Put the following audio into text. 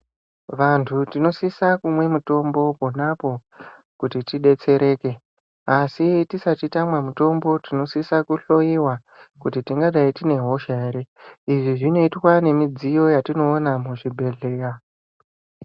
Vantu tinosisa kumwe mutombo ponapo kuti tidetsereke asi tisati tamwa mutombo tinosisa kuhloiwa kuti tingadai tine hosha ere . Izvi zvinoitwa nemidziyo yatinoona muzvibhehleya.